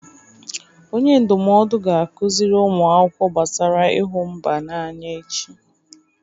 Onye ndụmọdụ ga-akụziri ụmụ akwụkwọ gbasara ịhụ mba n'anya echi.